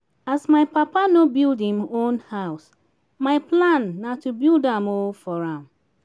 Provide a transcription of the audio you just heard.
as my papa no build im own house my plan na to build am um for am